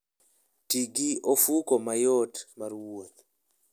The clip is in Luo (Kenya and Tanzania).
Ti gi ofuko mayot mar wuoth.